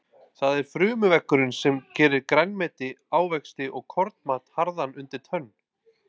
Það er frumuveggurinn sem gerir grænmeti, ávexti og kornmat harðan undir tönn.